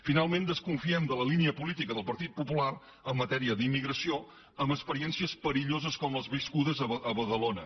finalment desconfiem de la línia política del partit popular en matèria d’immigració amb experiències perilloses com les viscudes a badalona